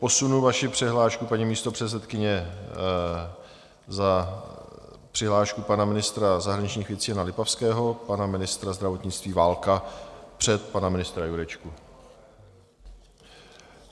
Posunu vaši přihlášku, paní místopředsedkyně, za přihlášku pana ministra zahraničních věcí Jana Lipavského, pana ministra zdravotnictví Válka před pana ministra Jurečku.